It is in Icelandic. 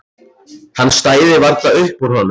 Hann stæði varla upp úr honum.